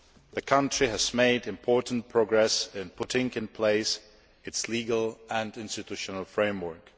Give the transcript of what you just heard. The country has made important progress in putting in place its legal and institutional framework.